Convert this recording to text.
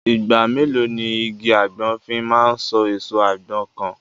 Ìgbà mélòó ni igi àgbọn fi máa so èso àgbọn kan?